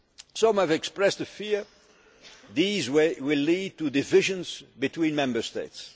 summits. Some have expressed the fear that these will lead to divisions between Member